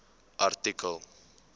artikel